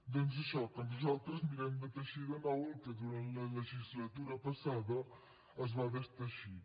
doncs això que nosaltres mirem de teixir de nou el que durant la legislatura passada es va desteixir